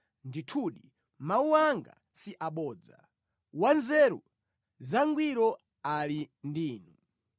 Ndithudi mawu anga si abodza; wanzeru zangwiro ali ndi inu.